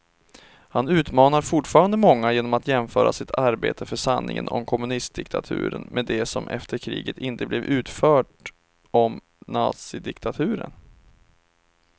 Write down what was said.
Han utmanar fortfarande många genom att jämföra sitt arbete för sanningen om kommunistdiktaturen med det som efter kriget inte blev utfört om nazidiktaturen.